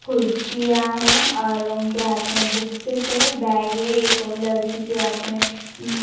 कुर्सियां है और उनके हाथ में बुक्सेस है बैग है एक और लड़की के हाथ में उम--